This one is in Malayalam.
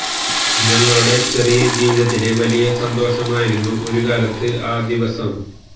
ഞങ്ങളുടെ ചെറിയ ജീവിതത്തിലെ വലിയ സന്തോഷമായിരുന്നു ഒരു കാലത്ത് ആ ദിവസം